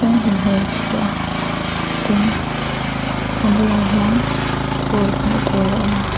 hlim hmel si a tin a bulah hian phul hmuh tur a awma.